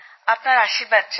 আপনার আশীর্বাদ চাই